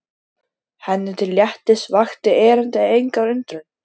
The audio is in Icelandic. Henni til léttis vakti erindið enga undrun.